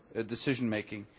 decision making.